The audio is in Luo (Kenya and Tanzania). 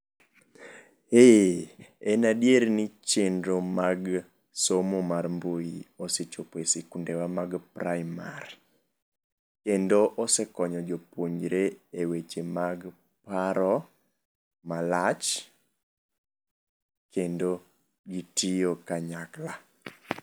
Ee, en adier ni somo mar mbui osechopo esikundewa mag praimar. Kendo osekonyo jopuonjre eweche mag paro malach kendo gitiyo kanyakla.